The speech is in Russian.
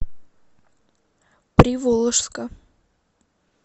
приволжска